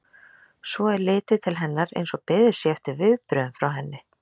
Svo er litið til hennar eins og beðið sé eftir viðbrögðum frá henni.